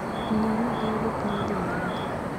Ne ni gi yudo pi modho maler